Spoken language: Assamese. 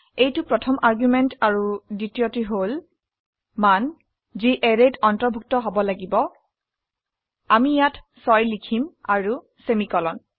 এইটো প্ৰথম আৰ্গুমেন্ট আৰু দ্বিতীয়টি হল মান যি অ্যাৰেত অন্তৰ্ভুক্ত হব লাগিব আমি ইয়াত 6 লিখিম আৰু সেমিকোলন